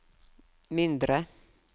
mindre